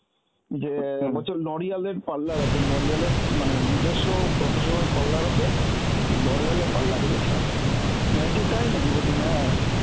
যে অ্যাঁ বলছে Loreal এর parlour আছে, Loreal এর মানে নিজস্ব professional parlour আছে Loreal এর parlour এ গেছিলাম. আমি বলছি তাই নাকি? বলছে হ্যাঁ.